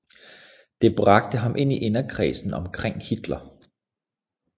Det bragte ham ind i inderkredsen omkring Hitler